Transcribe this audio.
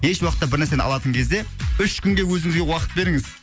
еш уақытта бір нәрсені алатын кезде үш күнге өзіңізге уақыт беріңіз